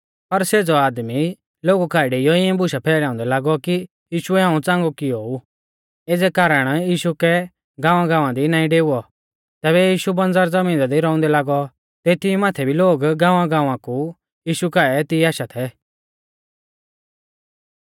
पर सेज़ौ आदमी लोगु काऐ डेइऔ इऐं बुशा फैलाउंदै लागौ कि यीशुऐ हाऊं च़ांगौ कियौ ऊ एज़ै कारण यीशु कै गांवगाँवा दी नाईं डेउवौ तैबै यीशु बंज़र ज़मीना दी रौउंदै लागौ तेती माथै भी लोग गांवगाँवा कु यीशु काऐ तिऐ आशा थै